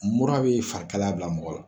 Mura be fari kalaya bila mɔgɔ la.